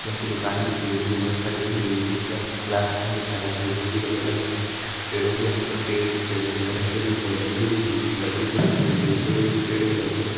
नीचे हमको दुकानें दिख रही हैं जो कि बहुत सारी दिख रही हैं पीछे हम को खुला आसमान दिख रहा है जो कि बहुत ही बढ़िया लग रहा है पेड़ों के हम पर पेड़ दिख रहे हैं जो कि हरे हरे दिख रहे हैं लकड़ी दिख रही है जो कि लकड़ी कलर की लग रही है पेड़ जो पेड़ कलर के लग रहे हैं।